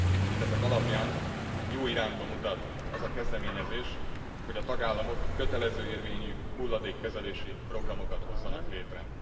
Mindezek alapján jó irányba mutat az a kezdeményezés, hogy a tagállamok kötelező érvényű hulladékkezelési programokat hozzanak létre.